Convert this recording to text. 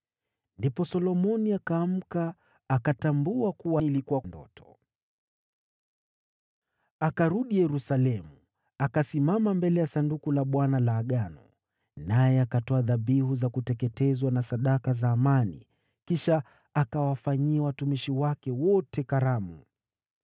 Ndipo Solomoni akaamka, akatambua kuwa ilikuwa ndoto. Akarudi Yerusalemu, akasimama mbele ya Sanduku la Agano la Bwana , naye akatoa dhabihu za kuteketezwa na sadaka za amani. Kisha akawafanyia watumishi wake wote karamu.